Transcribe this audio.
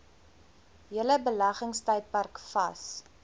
hele beleggingstydperk vas